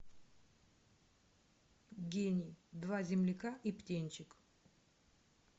гений два земляка и птенчик